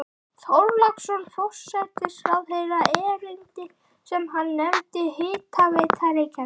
Þorláksson forsætisráðherra erindi sem hann nefndi Hitaveita Reykjavíkur.